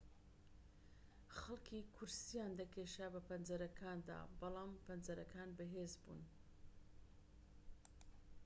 خەڵکی کورسییان دەکێشا بە پەنجەرەکاندا بەڵام پەنجەرەکان بەهێز بوون